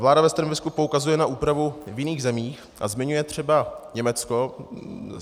Vláda ve stanovisku poukazuje na úpravu v jiných zemích a zmiňuje třeba Německo.